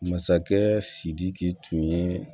Masakɛ sidiki tun ye